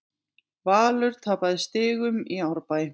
Valur tapaði stigum í Árbæ